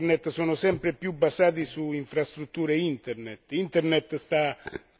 Le reti e i servizi Internet sono sempre più basati su infrastrutture Internet.